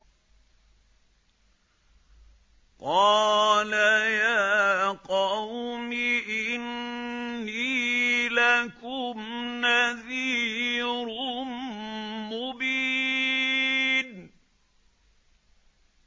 قَالَ يَا قَوْمِ إِنِّي لَكُمْ نَذِيرٌ مُّبِينٌ